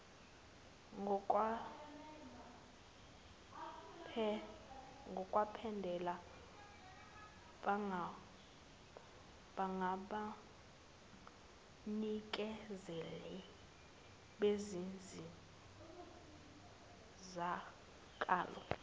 ngokwempela bangabanikezeli bezinsizakalo